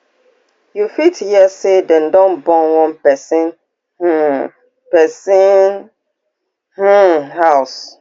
you fit hear say dem don burn one pesin um pesin um house